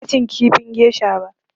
Ban iya cin kifin gesha ba.